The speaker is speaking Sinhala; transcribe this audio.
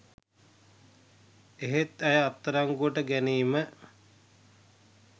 එහෙත් ඇය අත්අඩංගුවට ගැනීම